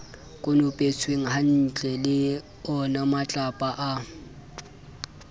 konopetswenghantle e le onamatlapa a